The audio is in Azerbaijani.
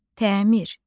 Təmir.